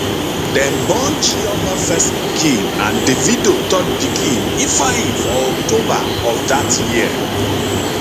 dem born chioma first pikin and davido third pikin ifeanyi for october of dat year